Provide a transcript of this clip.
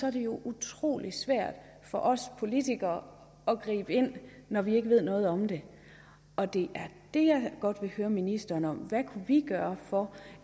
er det jo utrolig svært for os politikere at gribe ind når vi ikke ved noget om det og det er det jeg godt vil høre ministeren om hvad kan vi gøre for